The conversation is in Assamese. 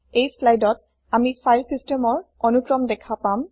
এই স্লাইদত আমি ফাইল চিচতেমৰ অনুক্ৰম দেখা পাম